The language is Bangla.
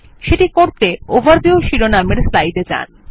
এটি করতে ওভারভিউ শিরোনাম যুক্ত স্লাইডে যান